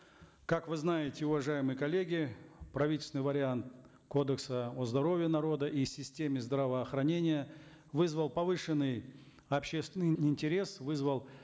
как вы знаете уважаемые коллеги правительственный вариант кодекса о здоровье народа и системе здравоохранения вызвал повышенный общественный интерес вызвал